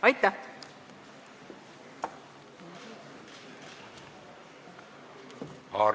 Aitäh!